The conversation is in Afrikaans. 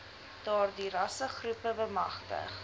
daardie rassegroepe bemagtig